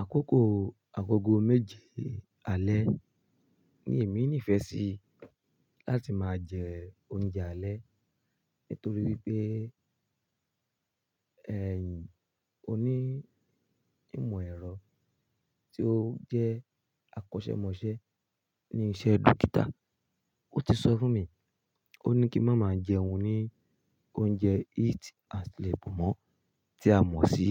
Àkókò agogo méje alẹ́ ni èmi nífẹ̀ẹ́ sí láti máa jẹ oúnjẹ alẹ́. Nítorí pé ẹ̀yìn oní ìmọ̀ ẹ̀rọ tí ó jẹ́ akọ́ṣẹ́mọṣẹ́ ní iṣẹ́ dókítà, ó ti sọ fún mi, ó ní kí má máa jẹun ní oúnjẹ eat and sleep mọ́ tí a mọ̀ sí